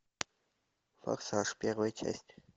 форсаж первая часть